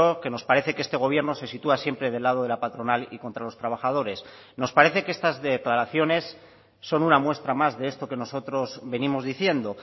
que nos parece que este gobierno se sitúa siempre del lado de la patronal y contra los trabajadores nos parece que estas declaraciones son una muestra más de esto que nosotros venimos diciendo